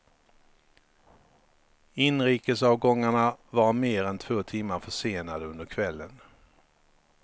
Inrikesavgångarna var mer än två timmar försenade under kvällen.